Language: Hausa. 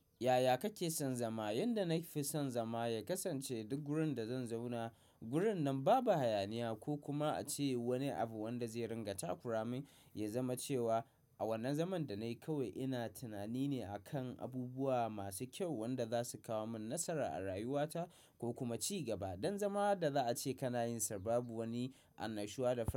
Yaya kake son zama? Yanda na fi son zama ya kasance duk gurin da zan zauna. Gurin nan babu hayaniya ko kuma ace wani abu wanda zai ringa takuramin ya zama cewa a wannan zaman da nayi kawai ina tinani ne akan abubuwa masu kyau wanda za su kawo min nasara a rayuwata ko kuma ci gaba. Don zama da za a ce kana yin sa babu wani annashuwa da fa.